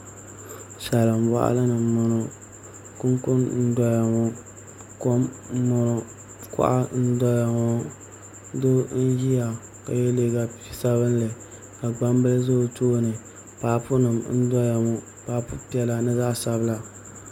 Salin boɣali ni n boŋo kunkun n doya ŋo kom n boŋo kuɣa n doya ŋo doo n ʒiya ka yɛ liiga sabinli ka gbambili ʒɛ o tooni paapu nim n doya ŋo paapu piɛla ni zaɣ sabila